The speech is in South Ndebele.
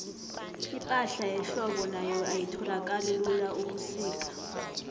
ipahla yehlobo nayo ayitholakali lula ubusika